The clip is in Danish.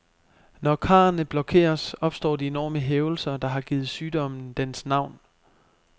Når karrene blokeres, opstår de enorme hævelser, der har givet sygdommen dens navn.